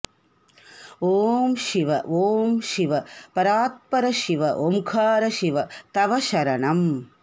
ॐ शिव ॐ शिव परात्पर शिव ओंकार शिव तव शरणं